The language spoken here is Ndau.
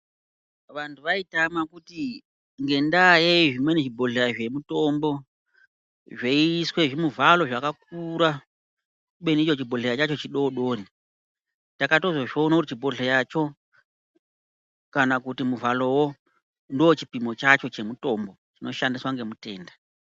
Vantu vaitama kuti ngendayeyi zvimweni zvibhohleya zvemutombo zveiiswe zvimuvhalo zvakakakura kubeni icho chibhohleya chacho chidodori takatozozviona kuti chibhohleya cho kana kuti muvhalowo ndochipimo chacho chinoshandiswa ngemutenda.